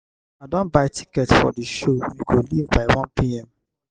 i don buy tickets for the show we go leave by 1pm.